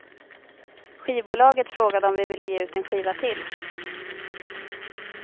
Skivbolaget frågade om vi ville ge ut en skiva till.